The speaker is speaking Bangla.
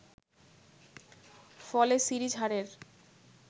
ফলে সিরিজ হারের